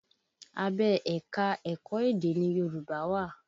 Abẹ́ ẹ̀ka-ẹ̀kọ edé ni Yorùbá wà